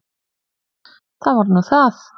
Það var nú það!